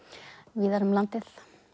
víðar um landið